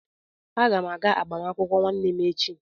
Aga m aga agbamakwụkwọ nwanne m echi.